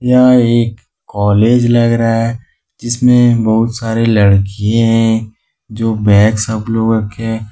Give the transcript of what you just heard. यह एक कॉलेज लग रहा है जिसमें बहुत सारे लड़कियां है जो बैग सब लोग रखे है।